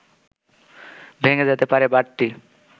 ভেঙে যেতে পারে বাঁটটি